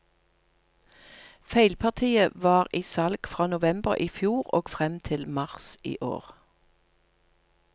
Feilpartiet var i salg fra november i fjor og frem til mars i år.